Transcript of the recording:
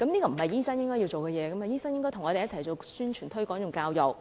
醫生應該與我們一起進行宣傳、推廣及教育工作，